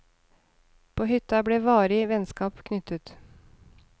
På hytta ble varige vennskap knyttet.